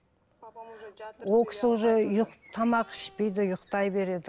ол кісі уже тамақ ішпейді ұйқтай береді